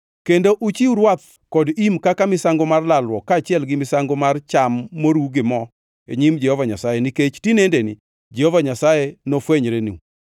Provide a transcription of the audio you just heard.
Kendo uchiw rwath kod im kaka misango mar lalruok kaachiel gi misango mar cham moruw gi mo e nyim Jehova Nyasaye nikech tinendeni Jehova Nyasaye nofwenyrenu.’ ”